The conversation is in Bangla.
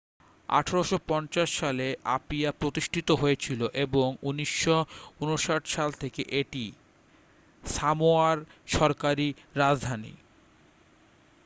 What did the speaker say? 1850 সালে আপিয়া প্রতিষ্ঠিত হয়েছিল এবং 1959 সাল থেকে এটি সামোয়ার সরকারি রাজধানী